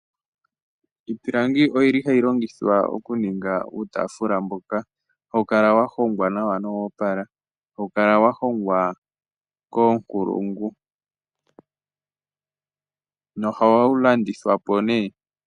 Iipilangi oyili hayi longithwa oku ninga uutaafula mboka hawu kala wa hongwa nawa nowoopala. Hawu kala wa hongwa koonkulungu. Nohawu landithwa po nee.